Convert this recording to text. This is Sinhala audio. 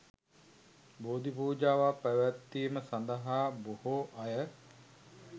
බෝධි පූජාවක් පැවැත්වීම සඳහා බොහෝ අය